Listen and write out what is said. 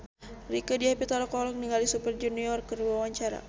Rieke Diah Pitaloka olohok ningali Super Junior keur diwawancara